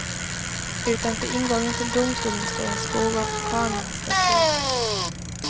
Utanför ingången till domstolen står en skog av kamerastativ.